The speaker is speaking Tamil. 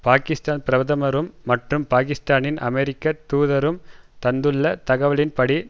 பாக்கிஸ்தான் பிரதமரும் மற்றும் பாக்கிஸ்தானின் அமெரிக்க தூதரும் தந்துள்ள தகவலின்படி